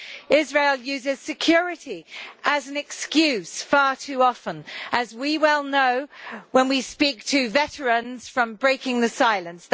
Israel uses security as an excuse far too often, as we well know when we speak to veterans from Breaking the Silence.